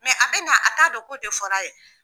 Mɛ a bɛ na a t'a don k'o de fɔr'a ye.